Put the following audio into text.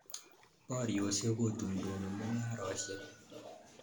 Poryosyek kotum tumi mung'aresyek